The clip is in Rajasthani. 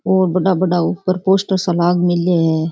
और बड़ा बड़ा ऊपर पोस्टर सा लाग मिला है।